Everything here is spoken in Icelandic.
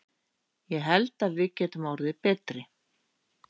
Ég held að við getum orðið betri.